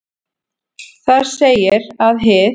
Þar segir að hið